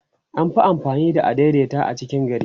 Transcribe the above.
an Fi amfani da adaidaita a cikin gari